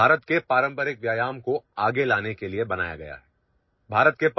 ভাৰতৰ পৰম্পৰাগত কচৰতক আগুৱাই নিবলৈ আমাৰ ষ্টাৰ্টআপৰ সৃষ্টি কৰা হৈছে